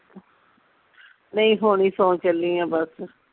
ਨਹੀਂ ਹੁਣ ਹੀ ਸੌ ਚੱਲੀ ਆ ਬਸ